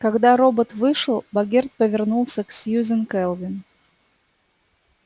когда робот вышел богерт повернулся к сьюзен кэлвин